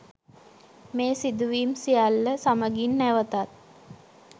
මේ සිදුවිම් සියල්ල සමගින් නැවතත්